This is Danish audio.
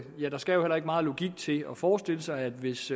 ja der skal jo heller ikke meget logik til at forestille sig at hvis